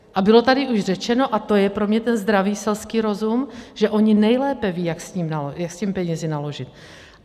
A bylo tady už řečeno, a to je pro mě ten zdravý selský rozum, že oni nejlépe vědí, jak se těmi penězi naložit.